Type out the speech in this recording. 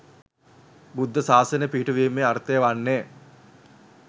බුද්ධ ශාසනය පිහිටුවීමේ අර්ථය වන්නේ